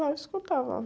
Lá eu escutava.